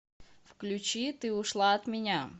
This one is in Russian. включи ты ушла от меня